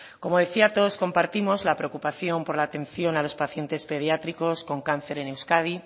como decía todos compartimos la preocupación por la atención a los pacientes pediátricos con cáncer en euskadi